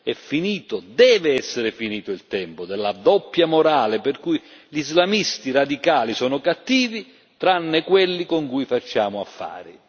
È finito deve essere finito il tempo della doppia morale, per cui gli islamisti radicali sono cattivi tranne quelli con cui facciamo affari.